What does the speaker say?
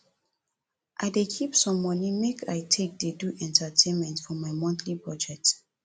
i dey keep some money make i take dey do entertainment for my monthly budget